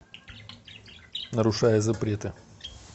нарушая запреты